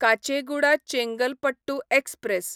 Kacheguda Chengalpattu express